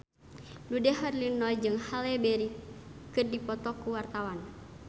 Dude Herlino jeung Halle Berry keur dipoto ku wartawan